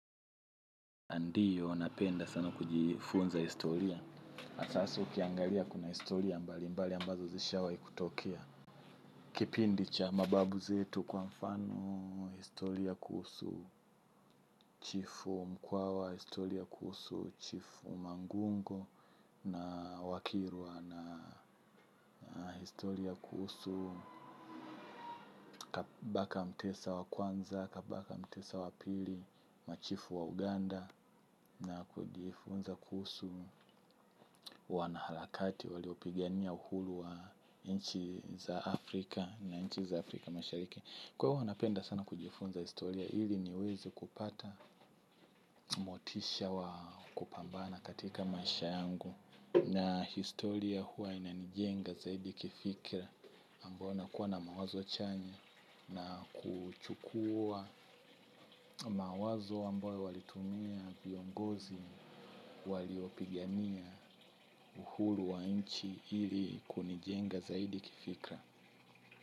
Ndiyo, napenda sana kujifunza historia. Sasa ukiangalia kuna historia mbali mbali ambazo zishawahi kutokea. Kipindi cha mababu zetu kwa mfano, historia kuhusu chifu mkwawa, historia kuhusu chifu mangungo na wakirwa na, historia kuhusu kabaka mtesa wa kwanza, kabaka mtesa wa pili, machifu wa Uganda, na kujifunza kuhusu wanaharakati waliopigania uhuru wa nchi za Afrika na nchi za Afrika mashariki kwa hivo napenda sana kujifunza historia ili niweze kupata motisha wa kupambana katika maisha yangu na historia huwa inanijenga zaidi kifikra ambao nakua na mawazo chanya na kuchukua mawazo ambayo walitumia viongozi waliopigania uhuru wa nchi ili kunijenga zaidi kifikra.